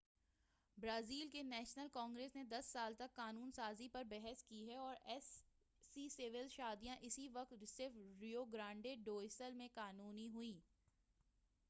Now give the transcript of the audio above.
Brazil کی national congress نے 10 سال تک قانون سازی پر بحث کی ہے اور ایسی سول شادیاں اس وقت صرف ریو گرانڈے ڈو سُل میں قانُونی ہیں